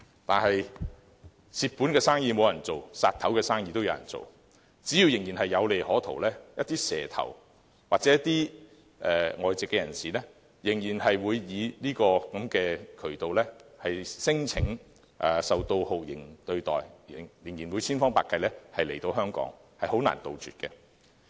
但是，"賠本生意無人做，斬首生意有人做"，只要仍然有利可圖，一些"蛇頭"或外籍人士仍會以這個渠道聲稱受到酷刑對待，千方百計來香港，令問題很難杜絕。